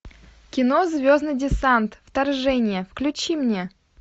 кино звездный десант вторжение включи мне